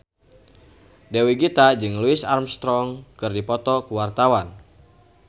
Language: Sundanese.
Dewi Gita jeung Louis Armstrong keur dipoto ku wartawan